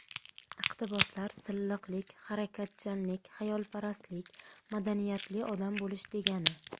Iqtiboslar Silliqlik, harakatchanlik, xayolparastlik – madaniyatli odam bo‘lish degani.